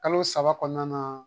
Kalo saba kɔnɔna na